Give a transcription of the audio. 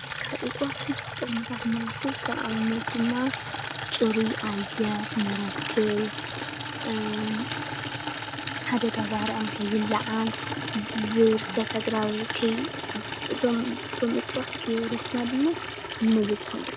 ካብ እፅዋት ቡዙሕ ጥቅሚ ንረክብ ።ከም ኣብነት ድማ ፅሩይ ኣየር ንረክብ፤ ሓደጋ ባርዕ ንከይላዓል፤ ብርሰት ኣግራብ እቶም እፅዋት ከየብረስና ድማ